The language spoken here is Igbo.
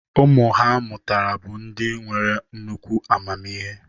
Ụmụ ha mụtara bụ ndị nwere nnukwu amamihe.